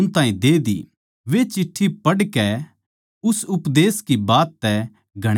वे चिट्ठी पढ़कै उस उपदेश की बात तै घणे राज्जी होए